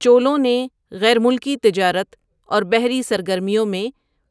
چولوں نے غیر ملکی تجارت اور بحری سرگرمیوں میں